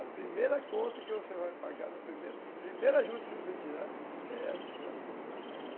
A primeira conta que você vai pagar, a primeira juta que você tirar, é essa conta que você vai pagar.